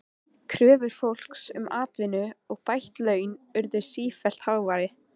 Kröfur fólks um atvinnu og bætt laun urðu sífellt háværari.